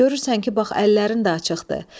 Görürsən ki, bax əllərin də açıqdır.